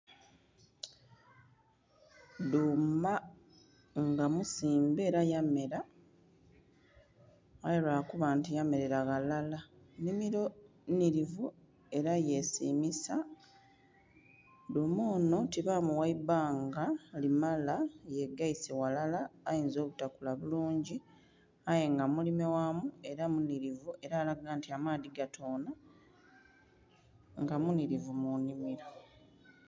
Dhuma nga musimbe era yamela aye lwakuba yamerera ghalala, nnhimilo nhilivu era yesimisa, dhuma onho tibamugha ibbanga limala kuba yegeise ghalala ainza obutakula bulungi aye nga mulime ghamu era munhilivu era alaga nti amaadhi gatonha nga munhilivu munhimiro.